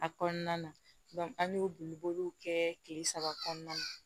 A kɔnɔna na an y'o boli boliw kɛ kile saba kɔnɔna na